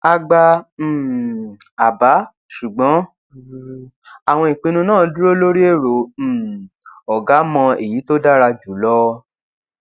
a gba um àbá ṣùgbọn um àwọn ìpinnu náà dúró lórí èrò um ọgá mọ èyí tó dára jù lọ